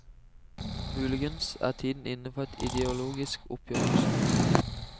Muligens er tiden inne for et ideologisk oppgjør også.